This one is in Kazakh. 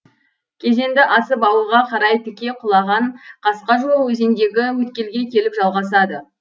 кезенді асып ауылға қарай тіке құлаған қасқа жол өзендегі өткелге келіп жалғасады